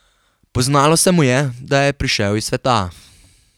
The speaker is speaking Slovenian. Poznalo se mu je, da je prišel iz sveta.